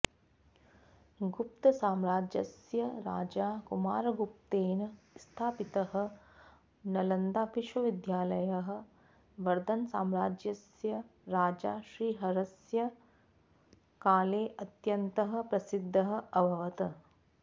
गुप्तसाम्राज्यस्य राजा कुमारगुप्तेन स्थापितः नलन्दाविश्वविद्यालयः वर्धनसाम्राज्यस्य राजा श्रीहर्षस्य काले अत्यन्तः प्रसिध्दः अभवत्